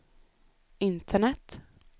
internet